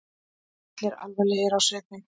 Allir alvarlegir á svipinn.